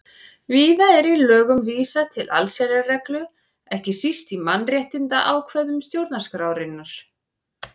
Víða er í lögum vísað til allsherjarreglu, ekki síst í mannréttindaákvæðum stjórnarskrárinnar.